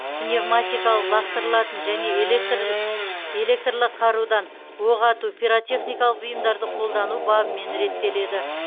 пневматикалық лақтырылатын және электрлі қарудан оқ ату пиротехникалық бұйымдарды қолдану бабымен реттеледі